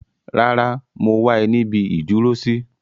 Rárá, mo wá ẹ níbi ìdúró sí.